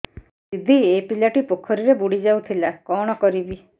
ଦିଦି ଏ ପିଲାଟି ପୋଖରୀରେ ବୁଡ଼ି ଯାଉଥିଲା କଣ କରିବି